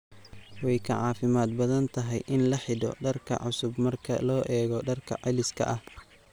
Way ka caafimaad badan tahay in la xidho dhar cusub marka loo eego dharka celiska ah.